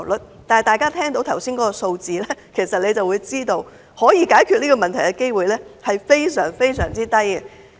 然而，大家聽到剛才的數字，就會知道可以解決這個問題的機會非常低。